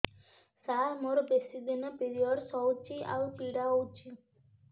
ସାର ମୋର ବେଶୀ ଦିନ ପିରୀଅଡ଼ସ ହଉଚି ଆଉ ପୀଡା ହଉଚି